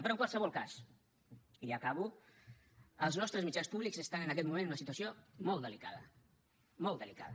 però en qualsevol cas i ja acabo els nostres mitjans públics estan en aquest moment en una situació molt delicada molt delicada